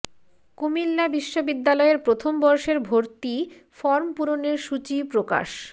কুমিল্লা বিশ্ববিদ্যালয়ের প্রথম বর্ষের ভর্তি ফরম পূরণের সূচি প্রকাশ